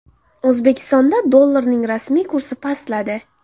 O‘zbekistonda dollarning rasmiy kursi pastladi.